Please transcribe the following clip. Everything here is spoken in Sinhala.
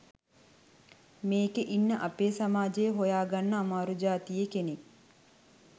මේකේ ඉන්න අපේ සමාජයේ හොයාගන්න අමාරු ජාතියේ කෙනෙක්.